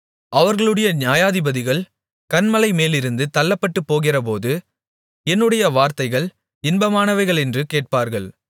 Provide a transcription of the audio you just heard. அவர்களுடைய நியாயாதிபதிகள் கன்மலை மேலிருந்து தள்ளப்பட்டுபோகிறபோது என்னுடைய வார்த்தைகள் இன்பமானவைகளென்று கேட்பார்கள்